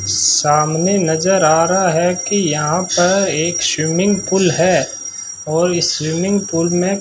सामने नज़र आ रहा है की यहां पर एक स्विमिंग पूल है और इस स्विमिंग पूल मे --